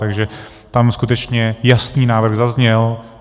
Takže tam skutečně jasný návrh zazněl.